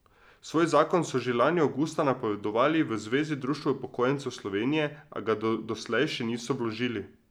Svoj zakon so že lani avgusta napovedovali v Zvezi društev upokojencev Slovenije, a ga doslej še niso vložili.